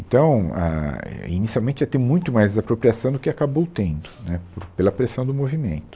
Então, ah, é, inicialmente ia ter muito mais desapropriação do que acabou tendo, né, pe pela pressão do movimento.